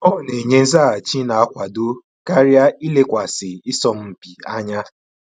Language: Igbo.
Ọ na enye nzaghachi n'akwado karịa ilekwasị isọmpi anya